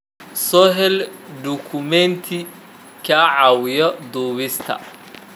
Soo hel dukumeenti kaa caawinaya duubista.